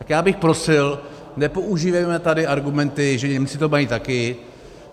Tak já bych prosil, nepoužívejme tady argumenty, že Němci to mají taky.